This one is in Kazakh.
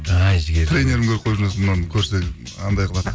ай жігер тренерім көріп қойып жүрмесін мынаны көрсе анандай қылады